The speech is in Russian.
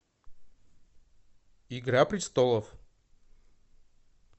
игра престолов